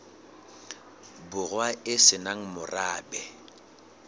borwa e se nang morabe